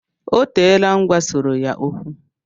O teela m gwasọrọ ya okwu